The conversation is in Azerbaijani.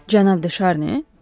Cənab De Şarni?